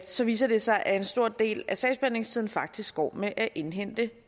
så viser det sig at en stor del af sagsbehandlingstiden faktisk går med at indhente